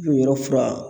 O yɔrɔ fura